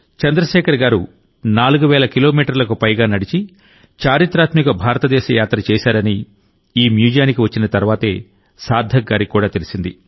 చంద్రశేఖర్ గారు4 వేల కిలోమీటర్లకు పైగా నడిచి చరిత్రాత్మక భారతదేశ యాత్ర చేశారని ఈ మ్యూజియానికి వచ్చిన తర్వాతే సార్థక్ గారికి కూడా తెలిసింది